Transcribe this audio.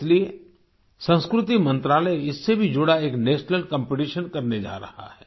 इसलिए संस्कृति मंत्रालय इससे भी जुड़ा एक नेशनल कॉम्पिटिशन करने जा रहा है